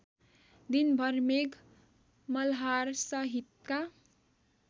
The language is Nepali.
दिनभर मेघ मल्हारसहितका